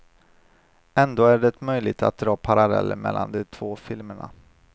Ändå är det möjligt att dra paralleller mellan de två filmerna.